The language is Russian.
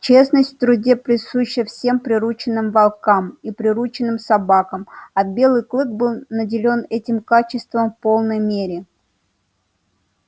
честность в труде присуща всем приручённым волкам и приручённым собакам а белый клык был наделён этим качеством в полной мере